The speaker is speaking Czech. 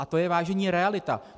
A to je, vážení, realita!